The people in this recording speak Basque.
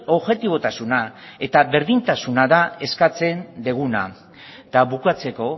objetibotasuna eta berdintasuna da eskatzen duguna eta bukatzeko